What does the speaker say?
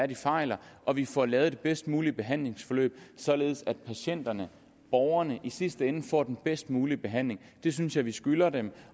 de fejler og vi får lavet det bedst mulige behandlingsforløb således at patienterne borgerne i sidste ende får den bedst mulige behandling det synes jeg vi skylder dem